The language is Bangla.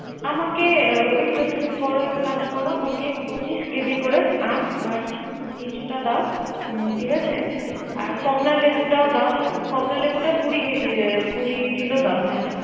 আমাকে ওইতো তুমি কর এক কাজ করো পচিশ কেজি করে আম আর লিচুটা দাও। ঠিক আছে, আর কমলা লেবুটাও দাও, কমলা লেবুটি কুড়ি কেজি, কুড়ি কিলো দাও।